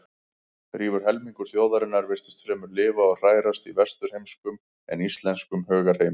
Rífur helmingur þjóðarinnar virtist fremur lifa og hrærast í vesturheimskum en íslenskum hugarheimi.